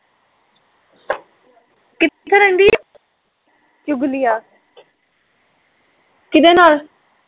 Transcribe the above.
ਚੁਗਲੀਆਂ ਕਿਹਦੇ ਨਾਲ਼